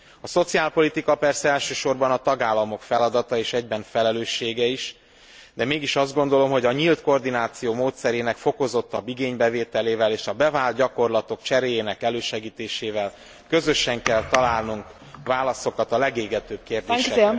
A szociálpolitika persze elsősorban a tagállamok feladata és egyben felelőssége is, de mégis azt gondolom, hogy a nyílt koordináció módszerének fokozottabb igénybevételével és a bevált gyakorlatok cseréjének elősegítésével közösen kell találnunk válaszokat a legégetőbb kérdésekre.